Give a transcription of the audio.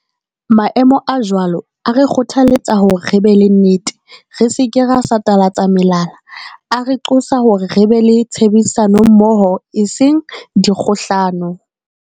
Maemo a jwalo a re kgothaletsa hore re be le nnete, re se ke ra satalatsa melala. A re qosa hore re be le tshebedisa nommoho, e seng dikgohlano.